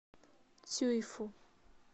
цюйфу